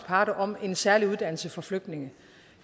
parter om en særlig uddannelse for flygtninge